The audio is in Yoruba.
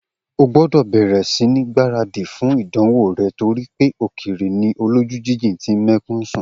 O gbọ́dọ̀ bẹ̀rẹ̀ sí ní gbáradì fún ìdánwò rẹ̀ torí pé òkèèrè ni olójú jíjìn tí ń mẹ́kún sun!